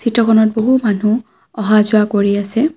Photo খনত বহু মানুহ অহা-যোৱা কৰি আছে।